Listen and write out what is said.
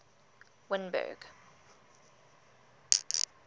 wynberg